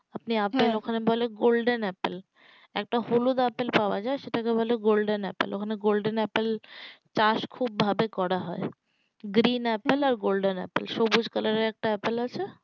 আপনি আপেল ওখানে বলে golden apple একটা হলুদ আপেল পাওয়া যাই সেটাকে বলে golden apple ওই খানে golden apple চাষ খুব ভাবে করা হয় green apple আর golden apple সবুজ color এর একটা apple আছে